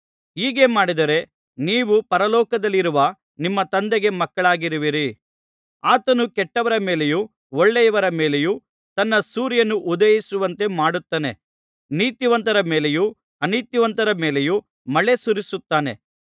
ಹೀಗೆ ಮಾಡಿದರೆ ನೀವು ಪರಲೋಕದಲ್ಲಿರುವ ನಿಮ್ಮ ತಂದೆಗೆ ಮಕ್ಕಳಾಗುವಿರಿ ಆತನು ಕೆಟ್ಟವರ ಮೇಲೆಯೂ ಒಳ್ಳೆಯವರ ಮೇಲೆಯೂ ತನ್ನ ಸೂರ್ಯನು ಉದಯಿಸುವಂತೆ ಮಾಡುತ್ತಾನೆ ನೀತಿವಂತರ ಮೇಲೆಯೂ ಅನೀತಿವಂತರ ಮೇಲೆಯೂ ಮಳೆ ಸುರಿಸುತ್ತಾನೆ